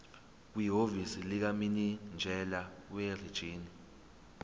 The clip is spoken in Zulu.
kwihhovisi likamininjela werijini